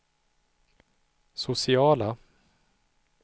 sociala